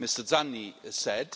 Mr Zanni said.